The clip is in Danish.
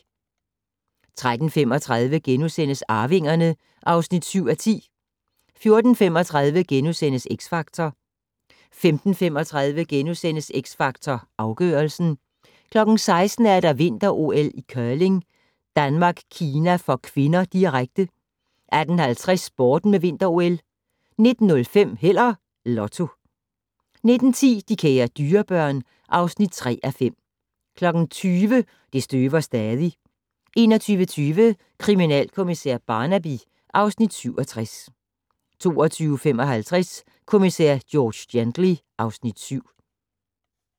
13:35: Arvingerne (7:10)* 14:35: X Factor * 15:35: X Factor Afgørelsen * 16:00: Vinter-OL: Curling - Danmark-Kina (k), direkte 18:50: Sporten med Vinter-OL 19:05: Held og Lotto 19:10: De kære dyrebørn (3:5) 20:00: Det støver stadig 21:20: Kriminalkommissær Barnaby (Afs. 67) 22:55: Kommissær George Gently (Afs. 7)